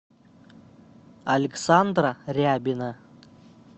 александра рябина